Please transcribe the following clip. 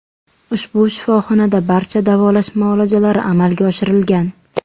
Ushbu shifoxonada barcha davolash muolajalari amalga oshirilgan.